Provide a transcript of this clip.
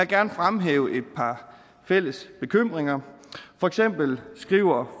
gerne fremhæve et par fælles bekymringer for eksempel skriver